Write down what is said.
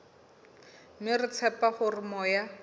mme re tshepa hore moya